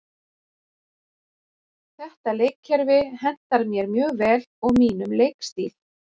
Þetta leikkerfi hentar mér mjög vel og mínum leikstíl.